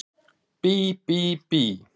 Bí bí bí!